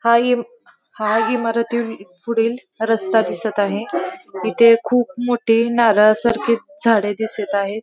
हा इम हा इमारती पुढील रस्ता दिसत आहे. इथे खूप मोठे नारळा सारखे झाडे दिसत आहे.